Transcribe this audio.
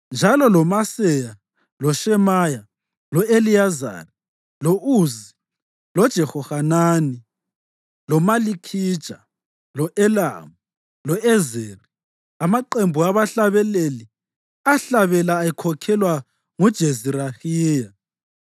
njalo loMaseya, loShemaya, lo-Eliyezari, lo-Uzi, loJehohanani, loMalikhija, lo-Elamu lo-Ezeri. Amaqembu abahlabeleli ahlabela ekhokhelwa nguJezirahiya.